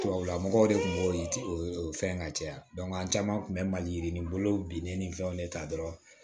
Tubabula mɔgɔw de tun b'o o fɛn ka caya an caman kun bɛ maliyirini bolo binnen ni fɛnw de ta dɔrɔn